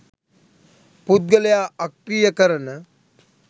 පුද්ගලයා අක්‍රීය කරන